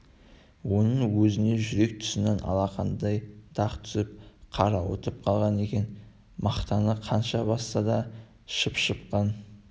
оның өзіне жүрек тұсынан алақандай дақ түсіп қарауытып қалған екен мақтаны қанша басса да шып-шып қан